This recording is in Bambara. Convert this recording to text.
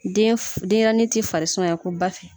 Den deɲɛrɛnin ti farisumayakoba fɛ.